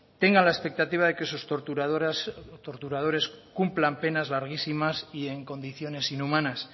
tenga la expectativa de que sus torturadoras torturadores cumplan penas larguísimas y en condiciones inhumanas